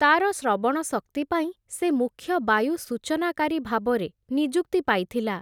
ତାର ଶ୍ରବଣ ଶକ୍ତି ପାଇଁ, ସେ ମୁଖ୍ୟ ବାୟୁ ସୂଚନାକାରୀ ଭାବରେ, ନିଯୁକ୍ତି ପାଇଥିଲା ।